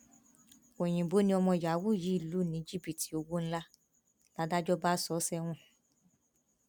oyinbo ni ọmọ yahoo yìí lù ní jìbìtì owó ńlá làdájọ bá sọ ọ sẹwọn